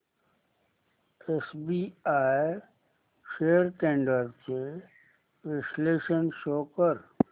SBI shares trends चे विश्लेषण show कर